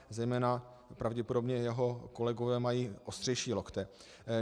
Zejména pravděpodobně jeho kolegové mají ostřejší lokty.